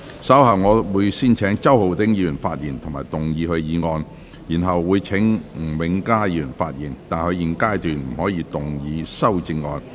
稍後我會先請周浩鼎議員發言及動議議案，然後請吳永嘉議員發言，但他在現階段不可動議修正案。